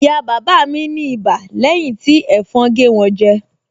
Ìyá bàbá mi ní ibà lẹ́yìn tí ẹ̀fọn gé wọn jẹ